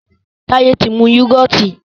Taye tí mú yugọti